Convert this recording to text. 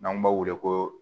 N'an b'o wele ko